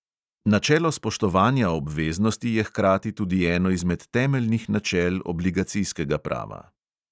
Načelo spoštovanja obveznosti je hkrati tudi eno izmed temeljnih načel obligacijskega prava.